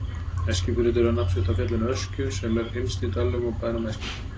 Eskifjörður dregur nafn sitt af fjallinu Öskju sem er innst í dalnum og bænum Eskifirði.